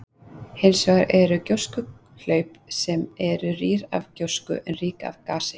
Hins vegar eru gjóskuhlaup sem eru rýr af gjósku en rík af gasi.